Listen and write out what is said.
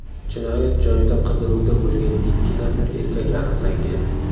Jinoyat joyida qidiruvda bo‘lgan ikki nafar erkak aniqlangan.